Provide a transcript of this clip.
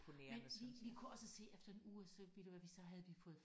Men vi vi kunne også se efter en uge så ved du hvad vi så havde vi fået